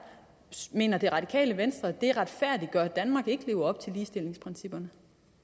mener det radikale venstre det retfærdiggør at danmark ikke lever op til ligestillingsprincipperne